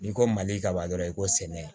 N'i ko mali kaba dɔrɔn i ko sɛnɛ